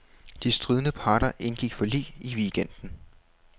De stridende parter indgik forlig i weekenden.